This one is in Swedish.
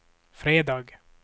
fredag